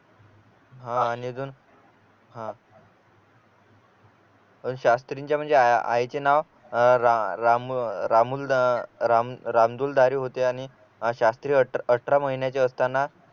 हा आणि अजून हा शास्त्रींच्या म्हणजे आईचे नाव अह राम अह राम राम रामदुलारी होते आणि शास्त्रीय अठरा महिन्याचे असताना